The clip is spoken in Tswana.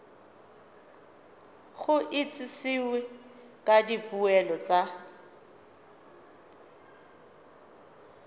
go itsisiwe ka dipoelo tsa